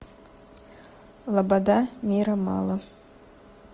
лобода мира мало